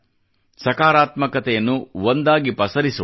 ಸಕಾರಾತ್ಮಕತೆಯನ್ನು ಒಂದಾಗಿ ಪಸರಿಸೋಣ